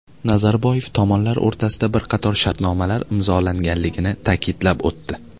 Nazarboyev tomonlar o‘rtasida bir qator shartnomalar imzolanganligini ta’kidlab o‘tdi.